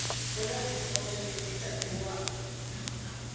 ku na tifomo leti tatiwaku